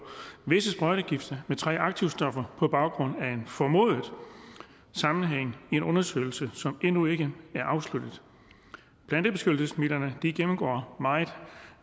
visse sprøjtegifte med tre aktivstoffer på baggrund af en formodet sammenhæng i en undersøgelse som endnu ikke er afsluttet plantebeskyttelsesmidlerne gennemgår meget